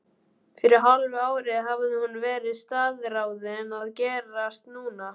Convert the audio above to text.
Fyrir hálfu ári hafði hún verið staðráðin að gerast nunna.